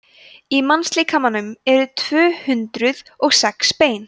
í mannslíkamanum eru tvö hundruð og sex bein